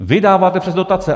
Vy dáváte přes dotace.